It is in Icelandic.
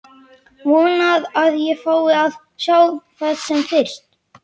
Vona að ég fái að sjá það sem fyrst.